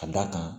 Ka d'a kan